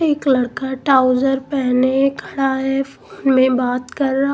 एक लड़का ट्राउजर पहने खड़ा है फोन में बात कर रहा--